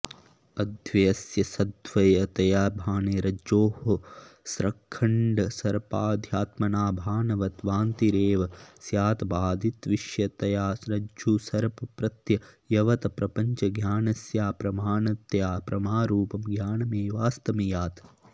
अद्वयस्य सद्वयतया भाने रज्जोः स्रक्खण्डसर्प्पाद्यात्मना भानवत् भ्रान्तिरेव स्यात् बाधितविषयतया रज्जुसर्पप्रत्ययवत् प्रपञ्चज्ञानस्याप्रमाणतया प्रमारूपं ज्ञानमेवास्तमियात्